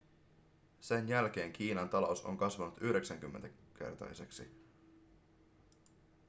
sen jälkeen kiinan talous on kasvanut 90-kertaiseksi